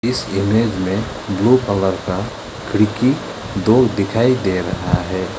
इस इमेज में blue colour का खिड़की दो दिखाई दे रहा है।